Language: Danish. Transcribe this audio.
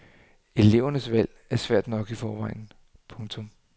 Elevernes valg er svært nok i forvejen. punktum